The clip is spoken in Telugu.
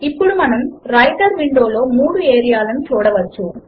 ఇప్పుడు మనము వ్రైటర్ విండో లో మూడు ఏరియా లను చూడవచ్చు